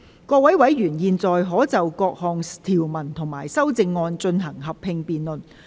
各位委員現在可以就各項條文及修正案，進行合併辯論。